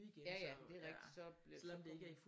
Ja ja det er rigtigt så bliver det